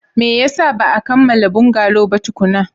Me yasa ba a kammala bungalow ba tukuna?